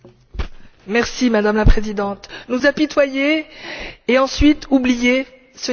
Madame la Présidente, nous apitoyer et ensuite oublier, ce n'est plus possible.